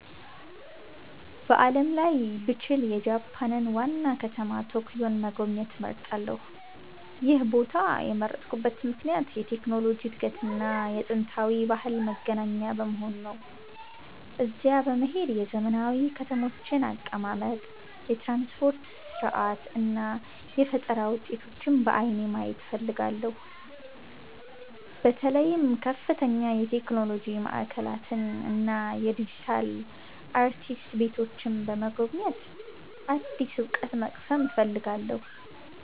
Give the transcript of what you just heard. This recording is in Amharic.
በዓለም ላይ ብችል፣ የጃፓንን ዋና ከተማ ቶኪዮን መጎብኘት እመርጣለሁ። ይህን ቦታ የመረጥኩበት ምክንያት የቴክኖሎጂ እድገትና የጥንታዊ ባህል መገናኛ በመሆኑ ነው። እዚያ በመሄድ የዘመናዊ ከተሞችን አቀማመጥ፣ የትራንስፖርት ሥርዓት እና የፈጠራ ውጤቶችን በዓይኔ ማየት እፈልጋለሁ። በተለይም ከፍተኛ የቴክኖሎጂ ማዕከላትን እና የዲጂታል አርቲስት ቤቶችን በመጎብኘት አዲስ እውቀት መቅሰም እፈልጋለሁ።